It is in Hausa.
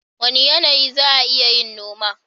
Wane yanayi za'a iya yin noma?